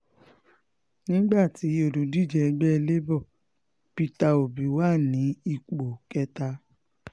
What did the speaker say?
nígbà tí olùdíje ẹgbẹ́ labour peter obi wà ní ipò kẹta